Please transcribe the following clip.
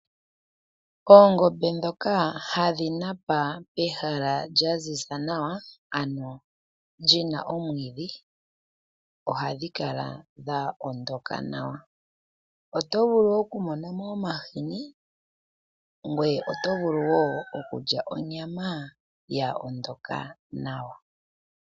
Oongombe dhoka hadhi napa pehala lya ziza nawa, ano li na omwiidhi, ohadhi kala dho ondoka nawa. Oto vulu okumona mo omahini, ngweye oto vulu wo okulya onyama yo ondoka nawa.